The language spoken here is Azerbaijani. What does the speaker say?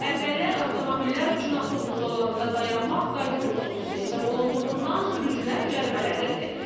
Əvvəllər avtomobillər üçün avtobus zolağında dayanmaq qayda pozuntusu hesab olunduğundan sürücülər cərimələnirdi.